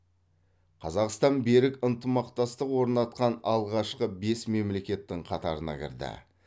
қазақстан берік ынтымақтастық орнатқан алғашқы бес мемлекеттің қатарына кірді